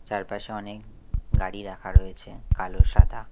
চারপাশে অনেক গাড়ি রাখা রয়েছে কালো সাদা।